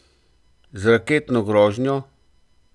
Z raketno grožnjo?